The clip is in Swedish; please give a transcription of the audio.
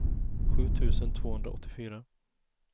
sju tusen tvåhundraåttiofyra